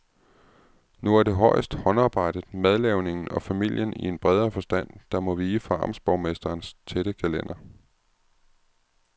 Nu er det højst håndarbejdet, madlavningen og familien i en bredere forstand, der må vige for amtsborgmesterens tætte kalender.